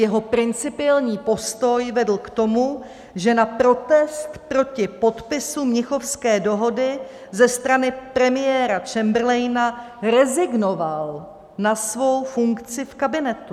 Jeho principiální postoj vedl k tomu, že na protest proti podpisu Mnichovské dohody ze strany premiéra Chamberlaina rezignoval na svou funkci v kabinetu.